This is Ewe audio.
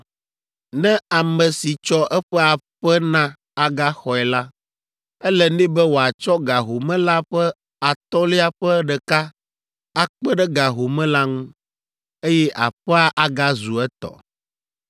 Ne ame si tsɔ eƒe aƒe na agaxɔe la, ele nɛ be wòatsɔ ga home la ƒe atɔ̃lia ƒe ɖeka akpe ɖe ga home la ŋu, eye aƒea agazu etɔ.